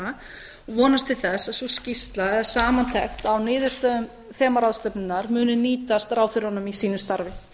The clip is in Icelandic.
og vonast til þess að sú skýrsla eða samantekt á niðurstöðum þemaráðstefnunnar muni nýtast ráðherrunum í sínu starfi